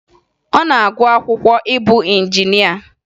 Ọ na-agụ akwụkwọ ịbụ injinịa